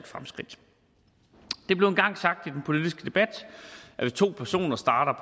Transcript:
fremskridt det blev en gang sagt i den politiske debat at hvis to personer starter